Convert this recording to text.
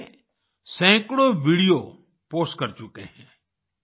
तब से वे सैकड़ों वीडियो पोस्ट कर चुके हैं